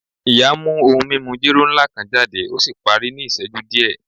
Iya mu ohun mimu jero nla kan jade o si pari ni iṣẹju diẹ